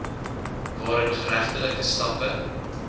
waarin geregtelike stappe